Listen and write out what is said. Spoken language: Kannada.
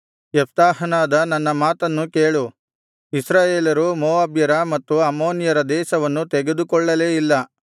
ಯೆಪ್ತಾಹನಾದ ನನ್ನ ಮಾತನ್ನು ಕೇಳು ಇಸ್ರಾಯೇಲರು ಮೋವಾಬ್ಯರ ಮತ್ತು ಅಮ್ಮೋನಿಯರ ದೇಶವನ್ನು ತೆಗೆದುಕೊಳ್ಳಲೇ ಇಲ್ಲ